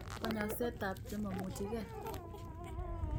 Konyoset tab chemomucheke